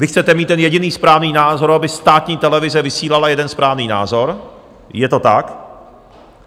Vy chcete mít ten jediný správný názor, aby státní televize vysílala jeden správný názor, je to tak.